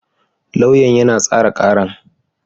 Lauyan yana tsara karar.